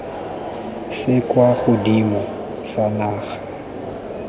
se kwa godimo sa naga